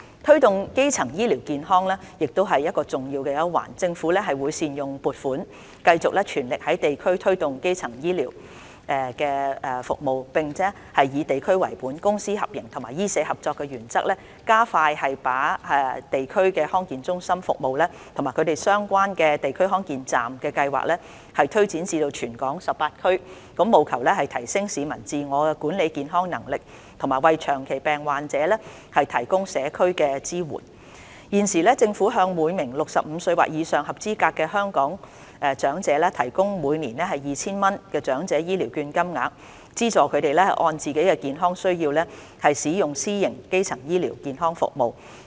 推動基層醫療健康亦是重要一環。政府會善用撥款，繼續全力在地區推動基層醫療服務，並以地區為本、公私合營及醫社合作為原則，加快把地區康健中心服務及相關的"地區康健站"計劃推展至全港18區，務求提升市民自我管理健康的能力，以及為長期病患者提供社區支援。現時，政府向每名65歲或以上的合資格香港長者提供每年 2,000 元的長者醫療券，資助他們按自己健康需要使用私營基層醫療服務。